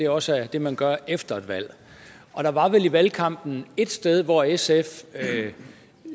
også er det man gør efter et valg og der var vel i valgkampen et sted hvor sfs